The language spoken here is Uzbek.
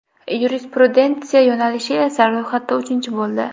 Yurisprudentsiya yo‘nalishi esa ro‘yxatda uchinchi bo‘ldi.